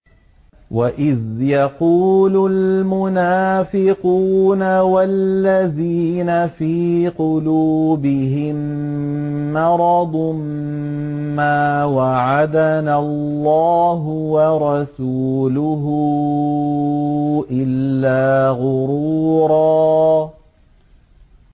وَإِذْ يَقُولُ الْمُنَافِقُونَ وَالَّذِينَ فِي قُلُوبِهِم مَّرَضٌ مَّا وَعَدَنَا اللَّهُ وَرَسُولُهُ إِلَّا غُرُورًا